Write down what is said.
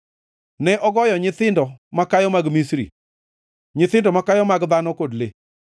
Ne ogoyo nyithindo makayo mag Misri, nyithindo makayo mag dhano kod le.